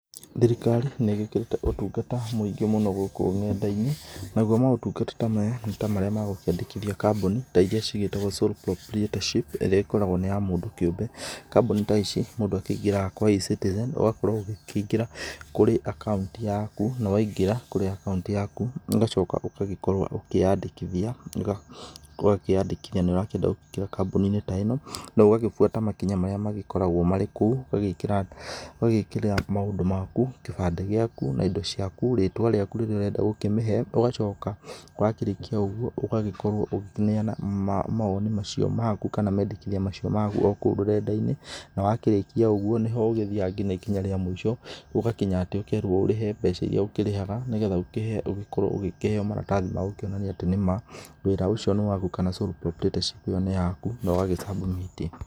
Thirikari nĩ ĩgĩkĩrĩte ũtungata mwĩngĩ mũno gũkũ nenda-inĩ, nagũo motungata ta maya nĩ ta marĩa ma kwandĩkithia kambuni ta irĩa ciĩtagwo sole proprietorship ĩrĩa ĩkoragwo nĩ ya mũndũ kĩũmbe, kambuni ta ici mũndũ angĩingĩraga kwa E-citizen ũgakorwo ũkĩingĩra kũrĩ akaunti yaku, na waingĩra akaunti yaku ũgaoka ũgagĩkorwo ũkĩyandĩkithia ũgakĩyandĩkithia nĩ ũrakĩenda kũingĩra kambuni-inĩ ta ĩno na ũgagĩbũata makinya marĩa magĩkoragwo marĩ kũu, ũgagĩkĩra maũndũ maku, gĩbande gĩaku na indo ciaku, rĩtwa rĩaku rĩrĩa ũrenda gũkĩmĩhe, ũgacoka wakĩrĩkia ũgũo ũgagĩkorwo ũkĩneana mawoni macio maku kana mendekithia macio o kũu rũrenda-inĩ na wakĩrĩkĩa ũgũo nĩ ho ũthiaga nginya ikinya rĩa mũico gũgakĩnya atĩ ũkerwo ũrĩhe mbeca irĩa ũkĩrĩhaga, nĩgetha ũkorwo ũkĩheo maratathi magũkĩonania atĩ nĩ ma wĩra ũcio nĩ wakũ, kana sole proprietorship ĩyo nĩ yaku no gagĩ- submit.